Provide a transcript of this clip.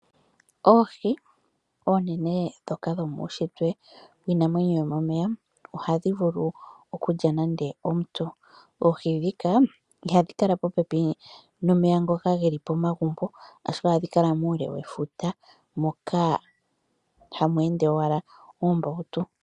Oohi oonene ndhoka dhomuushitwe dhiinamwenyo yomomeya ohadhi vulu okulya nande omuntu. Oohi ndhika ihadhi kala dhi li momeya ngoka ge li po pepi nomagumbo ashike ohadhi kala muule wefuta moka hamu ende owala oombautu.